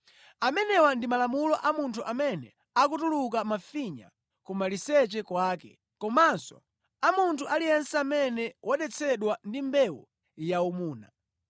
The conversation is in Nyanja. Amenewa ndi malamulo a munthu amene akutuluka mafinya kumaliseche kwake, komanso a munthu aliyense amene wadetsedwa ndi mbewu yaumuna,